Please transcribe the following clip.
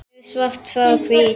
Hér er svart sagt hvítt.